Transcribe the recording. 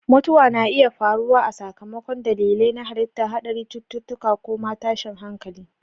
Mutuwa na iya faruwa a sakamakon dalilai na halitta, haɗari, cututtuka, ko ma tashin hankali.